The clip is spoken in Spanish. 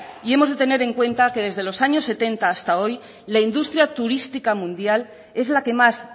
y hemos de tener en cuenta que desde los años setenta hasta hoy la industria turística mundial es la que más